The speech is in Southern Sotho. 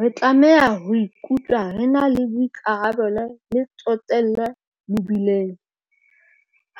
Re tlameha ho ikutlwa re na le boikarabelo le tsotello mebileng.